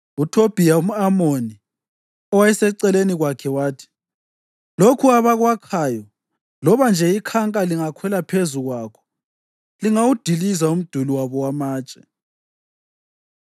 UThobhiya umʼAmoni, owayeseceleni kwakhe wathi, “Lokhu abakwakhayo, loba nje ikhanka lingakhwela phezu kwakho, lingawudiliza umduli wabo wamatshe!”